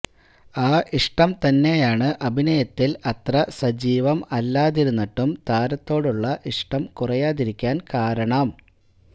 ആ ഇഷ്ടം തന്നെയാണ് അഭിനയത്തിൽ അത്ര സജീവം അല്ലാതിരുന്നിട്ടും താരത്തോടുള്ള ഇഷ്ടം കുറയാതിരിക്കാൻ കാരണം